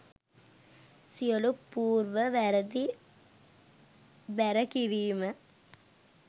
සියලු පූර්ව වැරදි බැර කිරීම